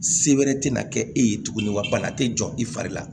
Sebɛrɛ tɛna kɛ e ye tuguni wa bana tɛ jɔ i fari la